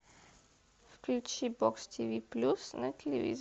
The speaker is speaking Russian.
включи бокс тв плюс на телевизоре